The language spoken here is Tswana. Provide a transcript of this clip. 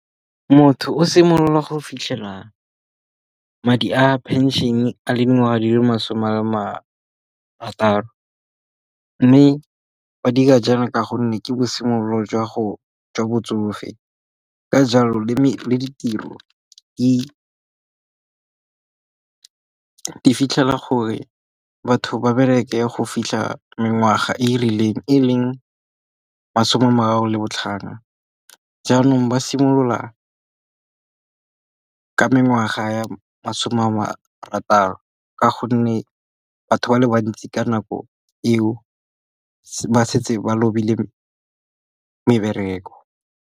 Motho o simolola go fitlhela madi a pension a le dingwaga di le masome a le marataro. Mme ba dira jaana ka gonne ke bo simolola jwa botsofe. Ka jalo le ditiro e fitlhela gore batho ba bereke go fitlha mengwaga e e rileng e leng masome a marataro le botlhano. Jaanong ba simolola ka mengwaga ya masome a marataro ka gonne batho ba le bantsi ka nako eo ba setse ba lobile mebereko.